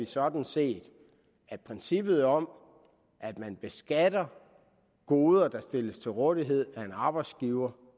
sådan set at princippet om at man beskatter goder der stilles til rådighed af en arbejdsgiver